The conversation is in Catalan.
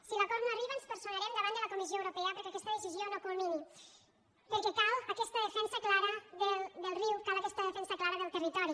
si l’acord no arriba ens personarem davant de la comissió europea perquè aquesta decisió no culmini perquè cal aquesta defensa clara del riu cal aquesta defensa clara del territori